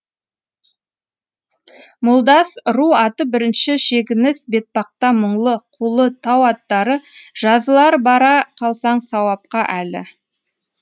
молдас ру аты бірінші шегініс бетбақта мұңлы қулы тау аттары жазылар бара қалсаң сауапқа әлі